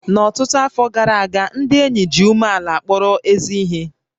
N'ọtụtụ afọ gara aga, ndị ényì ji umeàlà kpọrọ ézí ihé